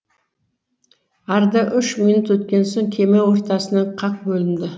арада үш минут өткен соң кеме ортасынан қақ бөлінді